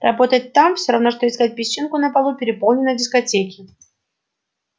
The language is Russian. работать там всё равно что искать песчинку на полу переполненной дискотеки